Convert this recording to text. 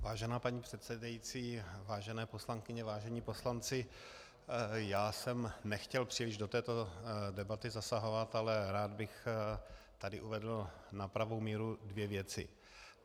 Vážená paní předsedající, vážené poslankyně, vážení poslanci, já jsem nechtěl příliš do této debaty zasahovat, ale rád bych tu uvedl na pravou míru dvě věci.